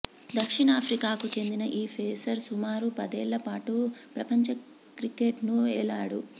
దక్షిణాఫ్రికాకు చెందిన ఈ పేసర్ సుమారు పదేళ్ల పాటు ప్రపంచ క్రికెట్ను ఏలాడు